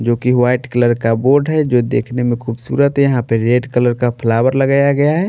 जो कि white colour का बोर्ड है जो देखने में खूबसूरत है यहाँ पे रेड कलर का फ्लावर लगाया गया है।